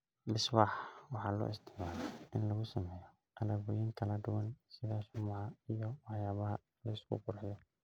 Beeswax waxaa loo isticmaalaa in lagu sameeyo alaabooyin kala duwan sida shumaca iyo waxyaabaha la isku qurxiyo.